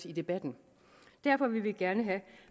i debatten derfor vil vi gerne høre